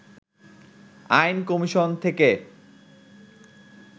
আইন কমিশন থেকে